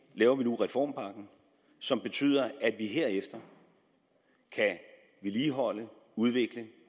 laver vi nu reformpakken som betyder at vi herefter kan vedligeholde udvikle